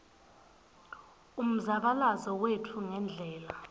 umzabalazo wetfu ngendlela